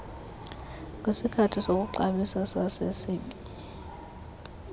kwisikali sokuxabisa sasesib